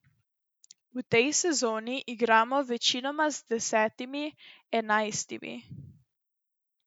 V tej sezoni igramo večinoma z desetimi, enajstimi.